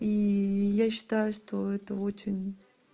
и я считаю что это очень